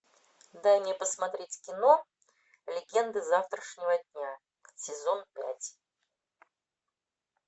дай мне посмотреть кино легенды завтрашнего дня сезон пять